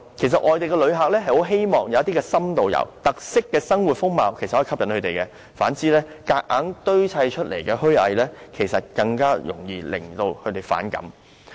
其實，外地旅客很喜歡深度遊，有特色的生活風貌可以吸引他們；反之，強行堆砌的虛偽，更容易惹他們反感。